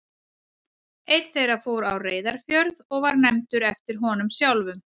Einn þeirra fór á Reyðarfjörð og var nefndur eftir honum sjálfum.